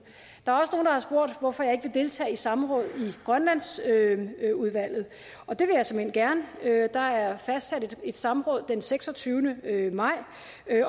der har spurgt hvorfor jeg ikke vil deltage i samråd i grønlandsudvalget og det vil jeg såmænd gerne der er fastsat et samråd den seksogtyvende maj